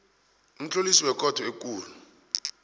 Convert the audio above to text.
umtlolisi wekhotho ekulu